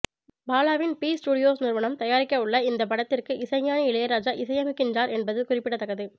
பாலாவின் B studios நிறுவனம் தயாரிக்கவுள்ள இந்த படத்திற்கு இசைஞானி இளையராஜா இசையமைக்கின்றார் என்பது குறிப்பிடத்தக்கது